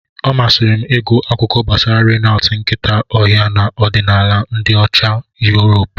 Ọ masịrị m ịgụ akuko gbasara Reynad nkịta ọhịa na ọdịnala ndị Ocha Yuropu.